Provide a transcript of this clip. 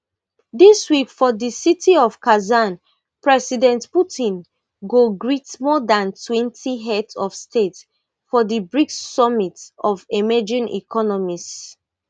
dis week for di city of kazan president putin go greet more dan twenty heads of state for di brics summit of emerging economies